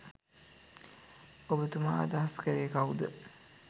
ඔබතුමා අදහස් කළේ කවුද?